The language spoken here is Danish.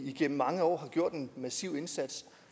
igennem mange år har gjort en massiv indsats